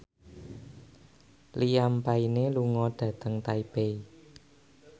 Liam Payne lunga dhateng Taipei